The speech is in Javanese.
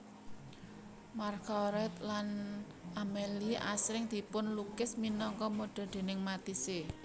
Marguerite lan Amélie asring dipunlukis minangka modè déning Matisse